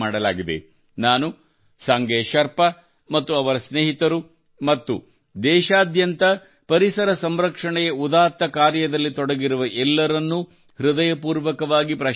ನಾನು ಸಂಗೆ ಶೆರ್ಪಾ ಮತ್ತು ಅವರ ಸ್ನೇಹಿತರು ಮತ್ತು ದೇಶಾದ್ಯಂತ ಪರಿಸರ ಸಂರಕ್ಷಣೆಯ ಉದಾತ್ತ ಕಾರ್ಯದಲ್ಲಿ ತೊಡಗಿರುವ ಎಲ್ಲರನ್ನೂ ಹೃದಯಪೂರ್ವಕವಾಗಿ ಪ್ರಶಂಸಿಸುತ್ತೇನೆ